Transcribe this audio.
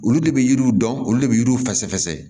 Olu de bɛ yiriw dɔn olu de bɛ yiriw fɛsɛ